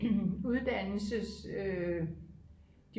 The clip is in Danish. uddannelses